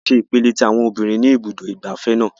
A lọ sí ipele tí àwọn obìnrin ní ibùdó ìgbafẹ́ náà.